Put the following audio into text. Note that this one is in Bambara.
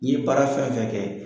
I ye baara fɛn fɛn kɛ